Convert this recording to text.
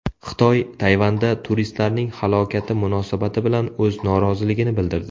Xitoy Tayvanda turistlarning halokati munosabati bilan o‘z noroziligini bildirdi.